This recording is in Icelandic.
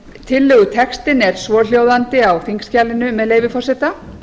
tillögutextinn er svohljóðandi á þingskjalinu með leyfi forseta